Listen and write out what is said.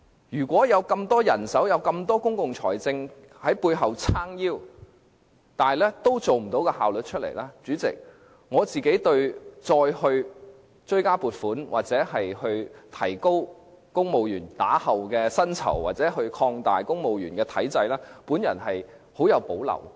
如果有這麼多人手，有這麼龐大的公共財政在背後"撐腰"，仍然未能提升效率的話，對於再追加撥款、提高公務員日後的薪酬或擴大公務員體制，我極有保留。